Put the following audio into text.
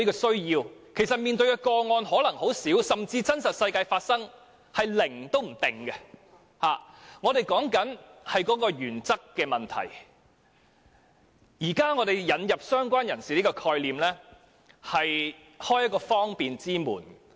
雖然要處理的個案可能很少，甚至在真實世界中發生的個案數字可能是零，但我們討論的是原則問題，而現時引入"相關人士"的概念，便是想開一道方便之門。